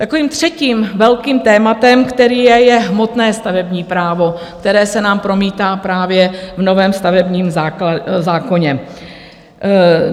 Takovým třetím velkým tématem, které je, je hmotné stavební právo, které se nám promítá právě v novém stavebním zákoně.